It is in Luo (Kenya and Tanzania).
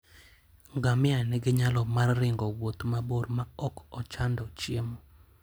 Ngamia nigi nyalo mar ringo wuoth mabor maok ochando chiemo.